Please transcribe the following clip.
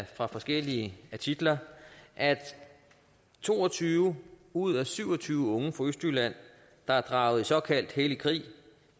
fra forskellige artikler at to og tyve ud af syv og tyve unge fra østjylland der er draget i såkaldt hellig krig